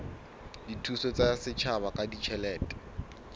dithuso tsa setjhaba ka ditjhelete